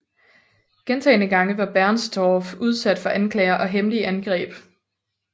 Gentagne gange var Bernstorff udsat for anklager og hemmelige angreb